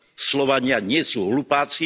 Slovania nie sú hlupáci.